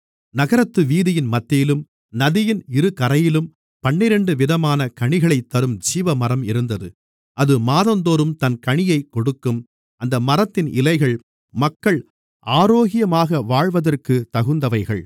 நகரத்து வீதியின் மத்தியிலும் நதியின் இருகரையிலும் பன்னிரண்டு விதமான கனிகளைத்தரும் ஜீவமரம் இருந்தது அது மாதந்தோறும் தன் கனியைக் கொடுக்கும் அந்த மரத்தின் இலைகள் மக்கள் ஆரோக்கியமாக வாழ்வதற்குத் தகுந்தவைகள்